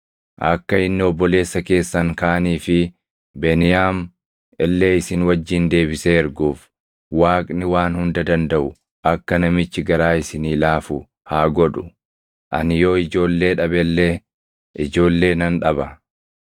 Akka inni obboleessa keessan kaanii fi Beniyaam illee isin wajjin deebisee erguuf Waaqni Waan Hunda Dandaʼu akka namichi garaa isinii laafu haa godhu. Ani yoo ijoollee dhabe illee ijoollee nan dhaba.”